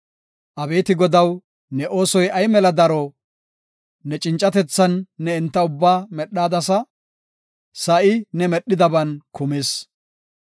Abeeti Godaw, ne oosoy ay mela daro; ne cincatethan ne enta ubbaa medhadasa; sa7i ne medhidaban kumis.